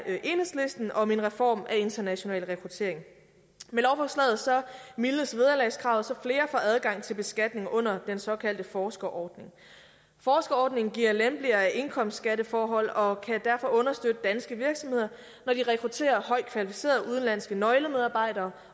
enhedslisten om en reform af international rekruttering med lovforslaget mildnes vederlagskravet så flere får adgang til beskatning under den såkaldte forskerordning forskerordningen giver lempeligere indkomstkatteforhold og kan derfor understøtte danske virksomheder når de rekrutterer højt kvalificerede udenlandske nøglemedarbejdere